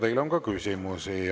Teile on ka küsimusi.